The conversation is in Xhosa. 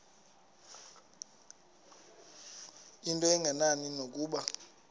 into engenani nokuba